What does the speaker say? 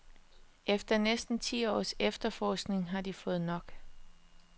Efter næsten ti års efterforskning har de fået nok.